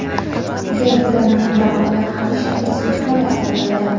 deb bilaman va ular hamisha Prezident himoyasida bo‘ladi.